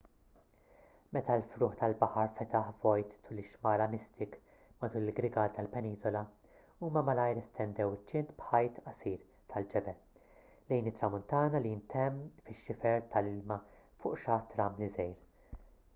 meta l-frugħ tal-baħar fetaħ vojt tul ix-xmara mystic matul il-grigal tal-peniżola huma malajr estendew iċ-ċint b'ħajt qasir tal-ġebel lejn it-tramuntana li ntemm fix-xifer tal-ilma fuq xatt ramli żgħir